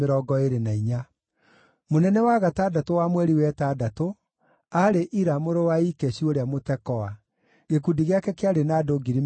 Mũnene wa gatandatũ wa mweri wa ĩtandatũ, aarĩ Ira mũrũ wa Ikeshu ũrĩa Mũtekoa. Gĩkundi gĩake kĩarĩ na andũ 24,000.